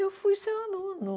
Eu fui seu aluno.